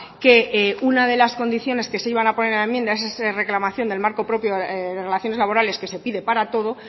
que una de las condiciones que se iban a poner en la enmienda es esa reclamación del marco propio de relaciones laborales que se pide para todo